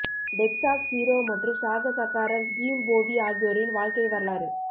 Texas hero மற்றும் சாகசக்காரர் Jim Bowie ஆகியோரின் வாழ்க்கை வரலாறு